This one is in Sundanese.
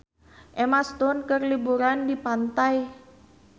Emma Stone keur liburan di pantai